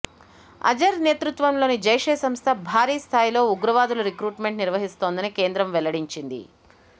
అజర్ నేతృత్వంలోని జైషే సంస్థ భారీ స్థాయిలో ఉగ్రవాదుల రిక్రూట్మెంట్ నిర్వహిస్తోందని కేంద్రం వెల్లడించింది